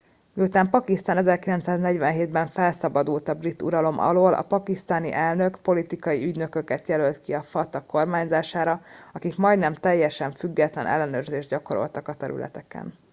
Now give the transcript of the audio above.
miután pakisztán 1947 ben felszabadult a brit uralom alól a pakisztáni elnök politikai ügynököket jelölt ki a fata kormányzására akik majdnem teljesen független ellenőrzést gyakorolnak a területeken